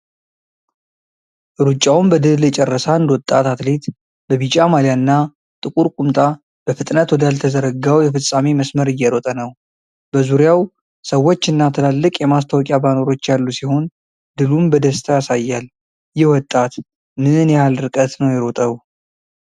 ሩጫውን በድል የጨረሰ አንድ ወጣት አትሌት በቢጫ ማሊያና ጥቁር ቁምጣ በፍጥነት ወዳልተዘረጋው የፍጻሜ መስመር እየሮጠ ነው። በዙሪያው ሰዎችና ትላልቅ የማስታወቂያ ባነሮች ያሉ ሲሆን ድሉን በደስታ ያሳያል። ይህ ወጣት ምን ያህል ርቀት ነው የሮጠው?